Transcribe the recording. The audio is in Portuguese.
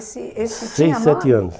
esse, esse, tinha nome... Seis, sete anos.